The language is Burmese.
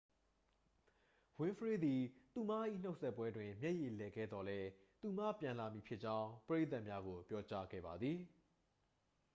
ဝင်းဖရေးသည် သူမ၏နှုတ်ဆက်ပွဲတွင် မျက်ရည်လည်ခဲ့သော်လည်း သူမပြန်လာမည်ဖြစ်ကြောင်း ပရိသတ်များကို ပြောကြားခဲ့ပါသည်